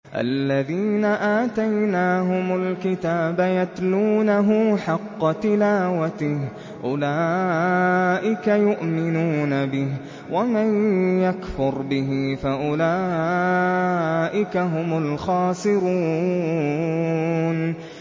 الَّذِينَ آتَيْنَاهُمُ الْكِتَابَ يَتْلُونَهُ حَقَّ تِلَاوَتِهِ أُولَٰئِكَ يُؤْمِنُونَ بِهِ ۗ وَمَن يَكْفُرْ بِهِ فَأُولَٰئِكَ هُمُ الْخَاسِرُونَ